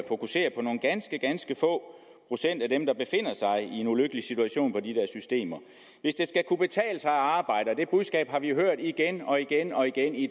fokusere på nogle ganske ganske få procent af dem der befinder sig i en ulykkelig situation i de der systemer hvis det skal kunne betale sig at arbejde og det budskab har vi hørt igen og igen og igen i